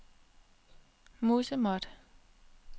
musemåtte